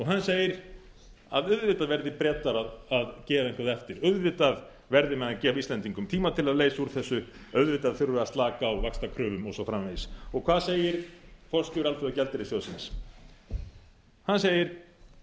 hann segir að auðvitað verði bretar að gefa eitthvað eftir auðvitað verði menn að gefa íslendingum tíma til að leysa úr þessu auðvitað þurfi að slaka á vaxtakröfum og svo framvegis hvað segir forstjóri alþjóðagjaldeyrissjóðsins hann segir það á